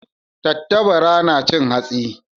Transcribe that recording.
Tattabara na cin hatsi.